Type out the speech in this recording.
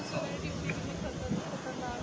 ਵਾਲਿਆਂ ਦੀ duty ਕਿੰਨੀ ਖ਼ਤਰ~ ਖ਼ਤਰਨਾਕ,